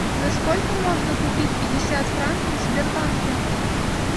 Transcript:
за сколько можно купить пятьдесят франков в сбербанке